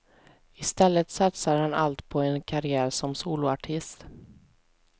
I stället satsar han allt på en karriär som soloartist.